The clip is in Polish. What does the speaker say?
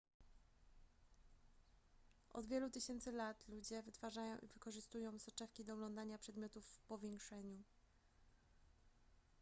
od wielu tysięcy lat ludzie wytwarzają i wykorzystują soczewki do oglądania przedmiotów w powiększeniu